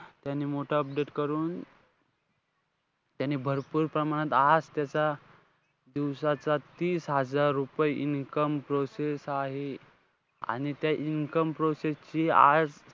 त्यांनी मोठं update करून. त्यांनी भरपूर प्रमाणात, आज त्याचा दिवसाचा तीस हजार रुपये income process आहे. आणि त्या income process ची,